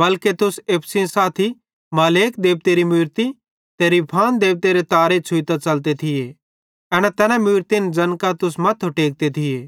बल्के तुसेईं एप्पू सेइं साथी मोलेक देबतेरी मूरती ते रिफान देबतेरे तारे छ़ुइतां च़लते थिये एना तैना मूरतिन ज़ैन कां तुस मथ्थो टेकते थिये